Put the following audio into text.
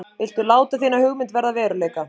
Viltu láta þína hugmynd verða að veruleika?